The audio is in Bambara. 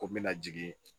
Ko n bɛna jigin